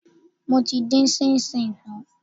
Mo ti dín ṣíńṣíìn tán.